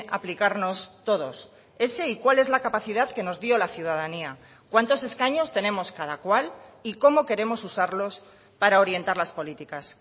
aplicarnos todos ese y cuál es la capacidad que nos dio la ciudadanía cuántos escaños tenemos cada cual y cómo queremos usarlos para orientar las políticas